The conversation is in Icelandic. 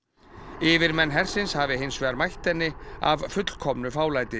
yfirmenn hersins hafi hins vegar mætt henni af fullkomnu fálæti